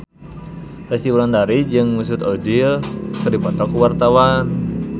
Resty Wulandari jeung Mesut Ozil keur dipoto ku wartawan